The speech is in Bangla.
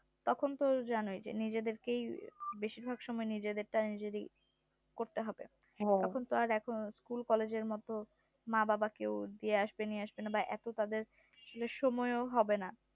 তখন তো জানোই যে নিজেদের কেই বেশির ভাগ সময় নিজেদেরটা নিজেরই করতে হবে তখন তো আর এখন school college এর মতো মা বাবা কেও দিয়ে আসবে নিয়ে আসবে না এতো তাদের সময় ও হবে না